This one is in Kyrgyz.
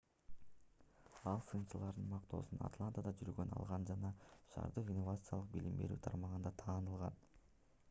ал сынчылардын мактоосун атлантада жүргөндө алган жана шаардык инновациялык билим берүү тармагында таанылган